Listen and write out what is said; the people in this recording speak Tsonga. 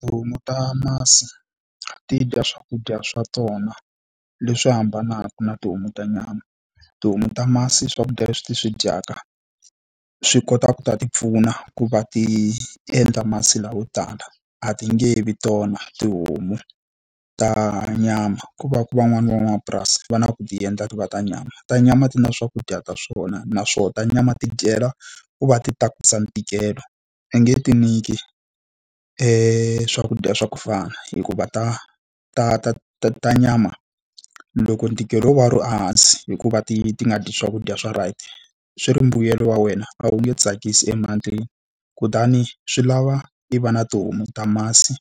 Tihomu ta masi ti dya swakudya swa tona leswi hambanaka na tihomu ta nyama. Tihomu ta masi swakudya leswi ti swi dyaka, swi kota ku ta ti pfuna ku va ti endla masi layo tala. A ti nge vi tona tihomu ta nyama. Ko va ku van'wani van'wamapurasi va na ku ti endla ti va ta nyama. Ta nyama ti na swakudya ta swona, naswona ta nyama ti dyela ku va ti tatisa ntikelo. I nge ti nyiki swakudya swa ku fana hikuva ta ta ta ta ta nyama, loko ntikelo wo va wu ri ehansi hi ku va ti ti nga dyi swakudya swa right, swi ri mbuyelo wa wena a wu nge tsakisi . Kutani swi lava i va na tihomu ta masi